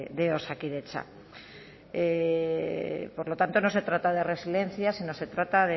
de osakidetza por lo tanto no se trata de resiliencia sino se trata